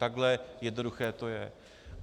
Takhle jednoduché to je.